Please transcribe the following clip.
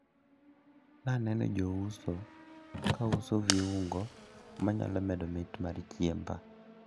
Naneno jouso kauso viungo manyalo medo mit mar chiemba.